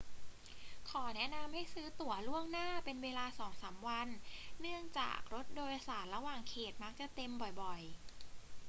ขอแนะนำให้ซื้อตั๋วล่วงหน้าเป็นเวลาสองสามวันเนื่องจากรถโดยสารระหว่างเขตมักจะเต็มบ่อย ๆ